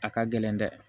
A ka gɛlɛn dɛ